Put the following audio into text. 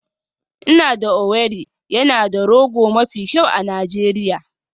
Ina da Owerri yana da rogo mafi kyau a Najeriya